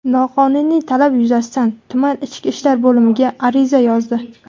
Noqonuniy talab yuzasidan tuman ichki ishlar bo‘limiga ariza yozdi.